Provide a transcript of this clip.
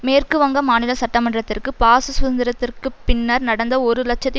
மேற்கு வங்க மாநில சட்டமன்றத்திற்கு பாசு சுதந்திரத்திற்கு பின்னர் நடந்த ஒரு இலட்சத்தி